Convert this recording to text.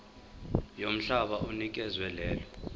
yomhlaba onikezwe lelo